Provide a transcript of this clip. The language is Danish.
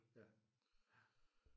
Ja ja